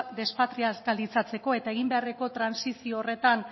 despatrializalatzeko eta egin beharreko trantsizio horretan